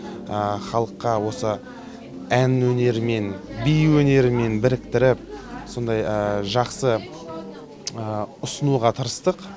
халыққа осы ән өнерімен би өнерімен біріктіріп сондай жақсы ұсынуға тырыстық